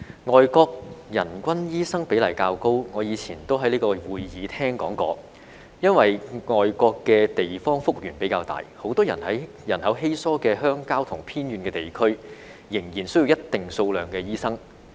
外國人均醫生比例較高，我以前也在這會議廳說過，是因為外國的地方幅員比較大，很多人口稀疏的鄉郊和偏遠地區仍然需要一定數量的醫生。